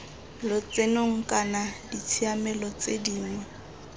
lotsenong kana ditshiamelo tse dingwe